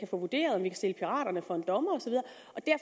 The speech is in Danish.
få vurderet om vi kan stille piraterne for en dommer